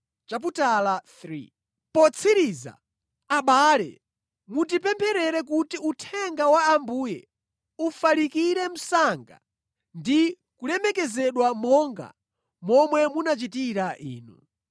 Potsiriza, abale, mutipempherere kuti uthenga wa Ambuye ufalikire msanga ndi kulemekezedwa monga momwe munachitira inu.